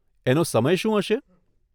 એનો સમય શું હશે?